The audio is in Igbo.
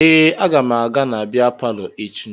Ee, aga m aga na bịa palọ echi